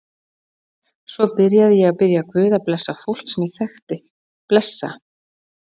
Svo byrjaði ég að biðja guð að blessa fólk sem ég þekkti, blessa